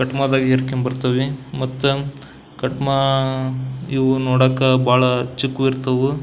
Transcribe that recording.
ಕಟ್ಮಾ ದಾಗ್ ಹೇರ್ಕೊಂಡ್ ಬರ್ತವೆ ಮತ್ತ ಕಟ್ಮಾ ಇವು ನೋಡಾಕ ಬಹಳ ಚಿಕ್ಕವು ಇರ್ತವು.